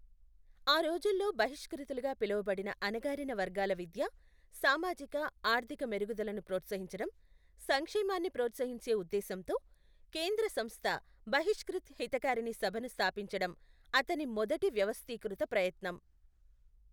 ఆ రోజుల్లో బహిష్క్రుతులుగా పిలవబడిన అణగారిన వర్గాల విద్య, సామాజిక ఆర్థిక మెరుగుదలను ప్రోత్సహించడం, సంక్షేమాన్ని ప్రోత్సహించే ఉద్దేశంతో, కేంద్ర సంస్థ బహిష్క్రిత్ హితకారిణి సభను స్థాపించడం అతని మొదటి వ్యవస్థీకృత ప్రయత్నం.